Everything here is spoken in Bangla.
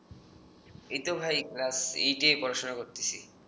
এইতো ভাই ক্লাস এইটে পড়াশোনা করতেছি